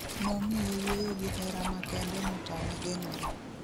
Nomiye yueyo gi hera makende motame geng'ore